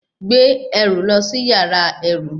Gbé ẹrù lọ sí yàrá ẹrú!